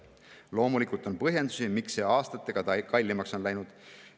Loomulikult on põhjendusi, miks see aastatega kallimaks on läinud.